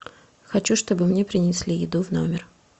хочу чтобы мне принесли еду в номер